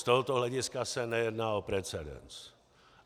Z tohoto hlediska se nejedná o precedens.